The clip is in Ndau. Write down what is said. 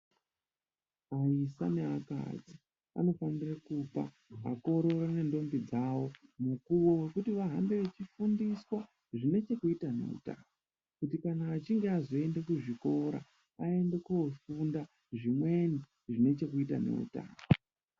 Vaisa neakadzi vanofanire kupa vakorore nendombo dzavo mukuvo vekuti vahambe vechifundiswa zvinechekuita neutano. Kuti kana achinge azvoende kuzvikora aende kofunda zvimweni zvinechekuita neutano.